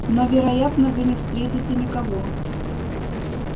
но вероятно вы не встретите никого